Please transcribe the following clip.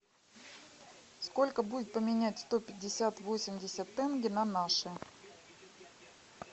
сколько будет поменять сто пятьдесят восемьдесят тенге на наши